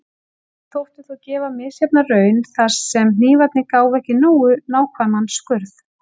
Þetta þótti þó gefa misjafna raun, þar sem hnífarnir gáfu ekki nógu nákvæman skurð.